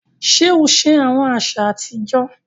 Ṣe o ṣe awọn aṣa atijọ?